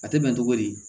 A tɛ bɛn cogo di